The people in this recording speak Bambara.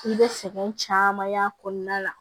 I bɛ sɛgɛn caman y'a kɔnɔna la